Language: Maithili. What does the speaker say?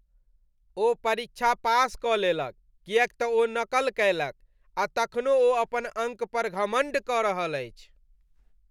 ओ परीक्षा पास कऽ लेलक किएक तँ ओ नक़ल कयलक आ तखनो ओ अपन अङ्क पर घमण्ड कऽ रहल अछि।